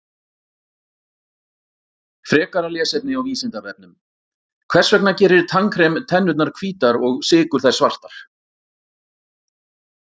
Frekara lesefni á Vísindavefnum: Hvers vegna gerir tannkrem tennurnar hvítar og sykur þær svartar?